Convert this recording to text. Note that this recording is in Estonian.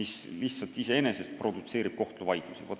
See juba iseenesest produtseerib kohtuvaidlusi.